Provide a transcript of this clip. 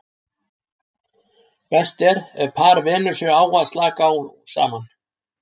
Best er ef par venur sig á að slaka á saman.